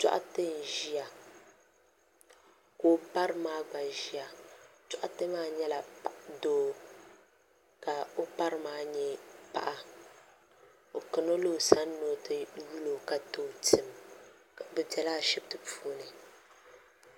dɔɣite n-ʒiya ka o bari maa gba ʒiya dɔɣite maa nyɛla doo ka o bari maa nyɛ paɣa o kana la o sani ni o ti yuli o ka ti o tim bɛ bela ashibiti puuni.